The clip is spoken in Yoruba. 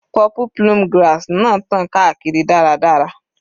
Purple plume grass náà tàn káàkiri dáradára.